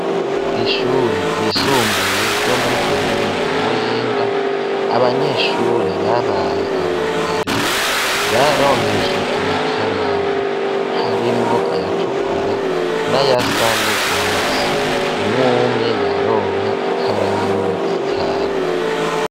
Kw'ishure ryisumbuye ryo muri komine ya muyinga, abanyeshure babaye aba mbere, baronkejwe amakaramu harimwo ayatukura, n'ayasa nurwatsi. Umwe umwe yaronka ikaramu zitanu.